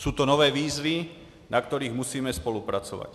Jsou to nové výzvy, na kterých musíme spolupracovat.